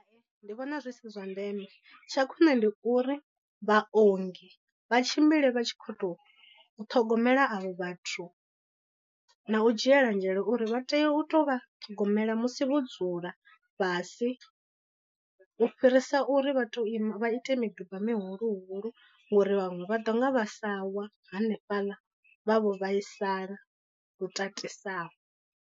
Ndi vhona zwi si zwa ndeme tsha khwine ndi uri vhaongi vha tshimbile vha tshi khou tou ṱhogomela avho vhathu, na u dzhiela nzhele uri vha tea u tou vha ṱhogomela musi vho dzula fhasi. U fhirisa uri vha tou ima vha ite miduba mihulu hulu ngori vhaṅwe vha ḓo nga vha sa wa hanefhaḽa vha vho vhaisala lu tatisaho.